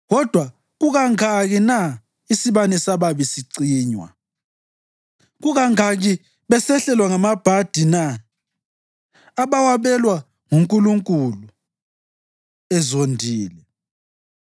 Kodwa kukangaki na isibane sababi sicinywa? Kukangaki besehlelwa ngamabhadi na, abawabelwa nguNkulunkulu ezondile?